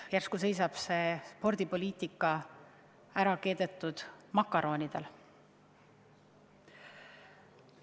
Järsku seisab meie spordipoliitika keedetud makaronidel?